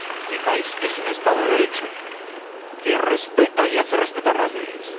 Mi país es un Estado de Derecho que respeta y hace respetar las leyes.